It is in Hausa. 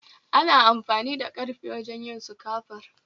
Ana amfani da karfe wajen yin sukafur